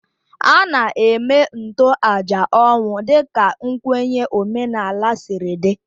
A na-eme ntoaja ọnwụ dịka nkwenye omenala siri dị